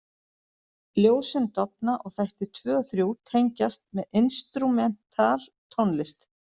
Ljósin dofna og þættir 2 og 3 tengjast með instrumental tónlist.